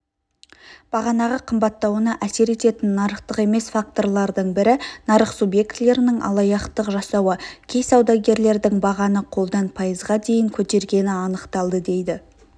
бағаның қымбаттауына әсер ететін нарықтық емес факторлардың бірі нарық субъектілерінің алаяқтық жасауы кей саудагерлердің бағаны қолдан пайызға дейін көтергені анықталды дейді